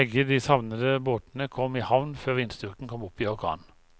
Begge de savnede båtene kom i havn før vindstyrken kom opp i orkan.